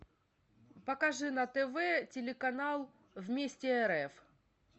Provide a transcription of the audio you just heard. покажи на тв телеканал вместе рф